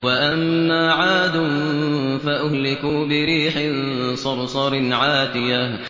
وَأَمَّا عَادٌ فَأُهْلِكُوا بِرِيحٍ صَرْصَرٍ عَاتِيَةٍ